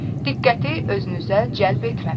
Diqqəti özünüzə cəlb etməmək.